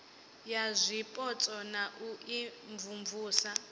ya zwipotso na u imvumvusa